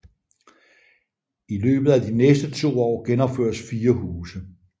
I løbet af de næste to år genopføres 4 huse